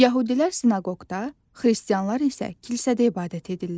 Yəhudilər sinaqoqda, Xristianlar isə kilsədə ibadət edirlər.